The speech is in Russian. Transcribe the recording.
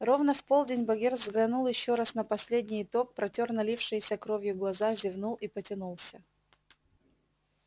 ровно в полдень богерт взглянул ещё раз на последний итог протёр налившиеся кровью глаза зевнул и потянулся